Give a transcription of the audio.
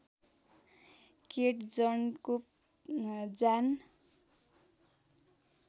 केट जनको जान